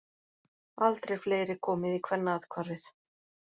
Aldrei fleiri komið í Kvennaathvarfið